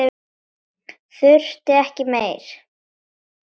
Þurfti ekki meira.